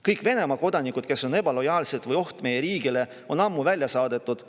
Kõik Venemaa kodanikud, kes on ebalojaalsed või oht meie riigile, on ammu välja saadetud.